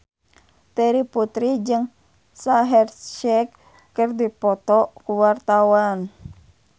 Terry Putri jeung Shaheer Sheikh keur dipoto ku wartawan